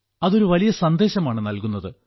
അത് ഒരു വലിയ സന്ദേശമാണ് നൽകുന്നത്